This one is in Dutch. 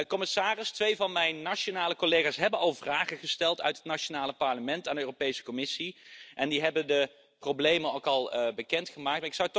Commissaris, twee van mijn nationale collega's hebben al vragen gesteld uit het nationale parlement aan de Europese Commissie en die hebben de problemen ook al bekendgemaakt.